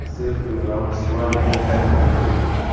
Serxio Ramos La Liga tarixiga kirdi.